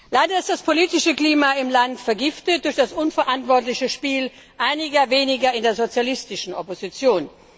Leider ist das politische Klima im Land vergiftet durch das unverantwortliche Spiel einiger weniger in der sozialistischen Opposition.